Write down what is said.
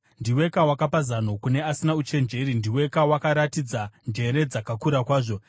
Ndiweka wakapa zano kune asina uchenjeri! Ndiweka wakaratidza njere dzakakura kwazvo!